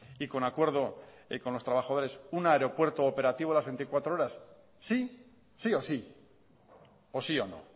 y con acuerdo con los trabajadores un aeropuerto operativo las veinticuatro horas sí o sí o sí o no